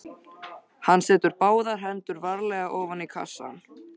Hann setur báðar hendur varlega ofan í kassann.